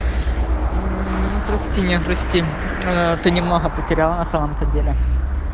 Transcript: мм ну прости меня прости ээ ты немного потеряла на самом-то деле